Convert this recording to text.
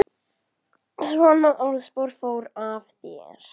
Svona orðspor fór af þér.